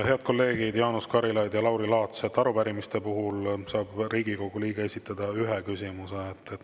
Head kolleegid Jaanus Karilaid ja Lauri Laats, arupärimiste puhul saab Riigikogu liige esitada ühe küsimuse.